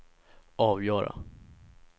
avgöra